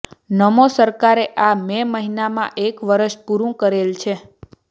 નમો સરકારે આ મે મહિનામાં એક વરસ પૂરુ કરેલ છે